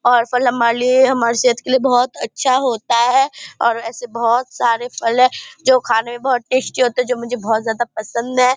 और फल हमारे लिए हमारे सेहत के लिए बहुत अच्छा होता है और एसे बहुत सारे फल है जो खाने में बहुत टेस्टी होता है जो मुझे बहुत ज्यादा पसंद है।